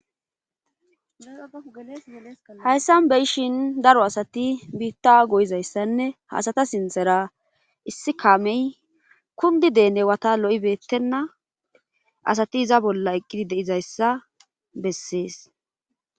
hayssan beyishin daro asati biitta goyizayssanne hasata sinthera issi kaamey kundi deene wata lo7ibeettenna asati iza bolla eqqidi deizayssa bessees